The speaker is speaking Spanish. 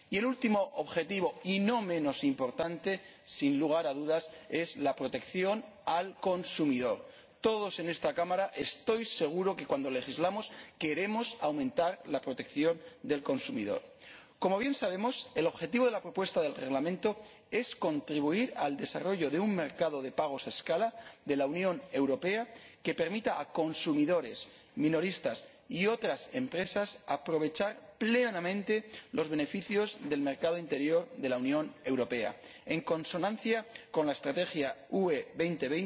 Y el último objetivo, y no menos importante, sin lugar a dudas, es la protección del consumidor. Estoy seguro de que todos en esta Cámara, cuando legislamos, queremos aumentar la protección del consumidor. Como bien sabemos, el objetivo de la propuesta de Reglamento es contribuir al desarrollo de un mercado de pagos a escala de la Unión Europea que permita a consumidores, minoristas y otras empresas aprovechar plenamente los beneficios del mercado interior de la Unión Europea, en consonancia con la Estrategia Europa 2020